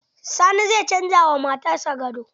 Sani zai canza ma matar sa gado.